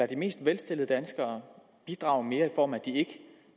de mest velstillede danskere bidrage mere i form af